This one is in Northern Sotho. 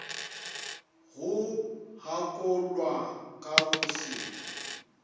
go gakollwa ka go se